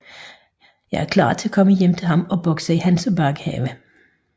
Jeg er klar til at komme hjem til ham og bokse i hans baghave